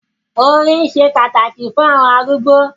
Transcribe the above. “orín” se pàtàkì fún àwọn arúgbó.